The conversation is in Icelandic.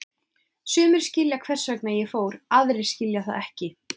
Sumir skilja hvers vegna ég fór, aðrir skilja það ekki.